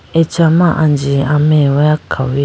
acha ma anji ameweya khawuyi?